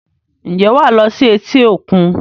Ǹjẹ́ wàá lo sí etí-òkun?